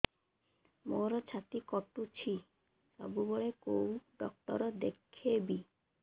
ମୋର ଛାତି କଟୁଛି ସବୁବେଳେ କୋଉ ଡକ୍ଟର ଦେଖେବି